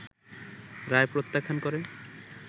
রায় প্রত্যাখ্যান করে